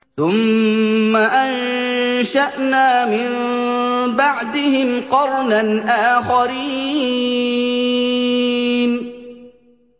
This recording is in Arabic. ثُمَّ أَنشَأْنَا مِن بَعْدِهِمْ قَرْنًا آخَرِينَ